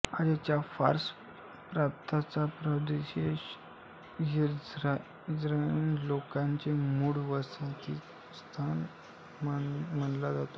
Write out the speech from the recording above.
आजच्या फार्स प्रांताचा भूप्रदेश इराणी लोकांचे मूळ वसतिस्थान मानला जातो